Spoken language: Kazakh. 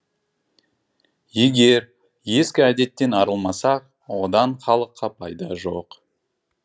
егер ескі әдеттен арылмасақ одан халыққа пайда жоқ